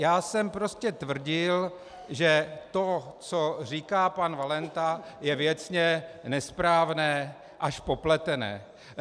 Já jsem prostě tvrdil, že to, co říká pan Valenta, je věcně nesprávné až popletené.